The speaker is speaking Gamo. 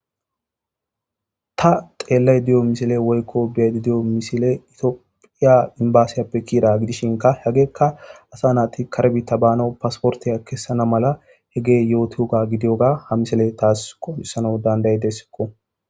ta xeellay diyo misile woykko biedi diyo misile itiophiya imbasiyappe kiira gidishinka hegeekka asa naati karebiita baano pasportiya kessana mala he gee yootioga gidiyoga ha misile taas qohisano danday dessikko